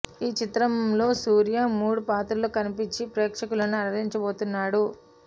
ఈ చిత్ర మలో సూర్య మూడు పాత్రల్లో కనిపించి ప్రేక్షకులను అలరించబోతున్నాడు